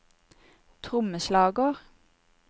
trommeslager